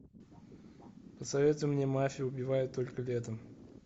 посоветуй мне мафия убивает только летом